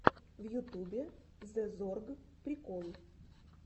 в ютубе зэ зорг прикол